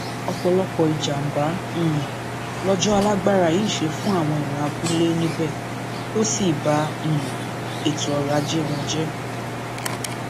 ọpọlọpọ ìjàmàbá um lọjọ alágbára yìí ṣe fún àwọn èèyàn abúlé níbẹ tó sì ba um ètò ọrọ ajé wọn jẹ